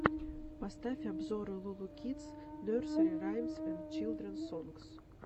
поставь обзоры лу лу кидс нерсери раймс энд чилдренс сонгс